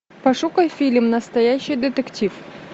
пошукай фильм настоящий детектив